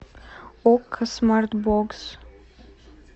окко смарт бокс